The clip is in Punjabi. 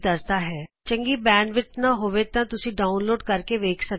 ਜੇ ਤੁਹਾਡੇ ਕੋਲ ਪਰਯਾਪਤ ਬੈਂਡਵਿੱਥ ਨਾ ਹੋਵੇ ਤਾਂ ਤੁਸੀਂ ਇਸ ਨੂੰ ਡਾਊਨਲੇਡ ਕਰ ਕੇ ਵੇਖ ਸਕਦੇ ਹੋ